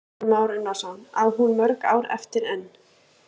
Kristján Már Unnarsson: Á hún mörg ár eftir enn?